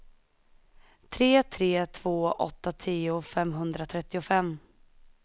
tre tre två åtta tio femhundratrettiofem